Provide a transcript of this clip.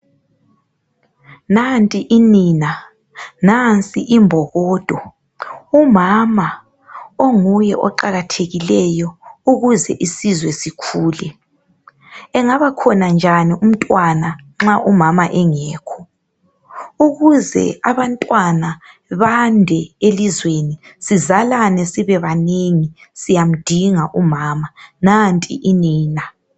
Nanti inina, nansi imbokodo. Umama onguye oqakathekileyo ukuze isizwe sikhule. Engabakhona njani umntwana nxa umama engekho ukuze abantwana bande elizweni sizalane sibebanengi siyamdinga umama. Nanti inina.